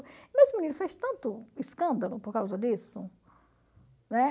Mas esse menino fez tanto escândalo por causa disso. Né?